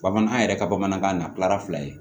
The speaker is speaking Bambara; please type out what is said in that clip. Bamanan an yɛrɛ ka bamanankan na tilara fila ye